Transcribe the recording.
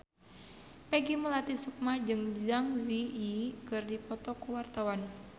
Peggy Melati Sukma jeung Zang Zi Yi keur dipoto ku wartawan